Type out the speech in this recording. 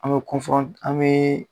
An bɛ an bɛ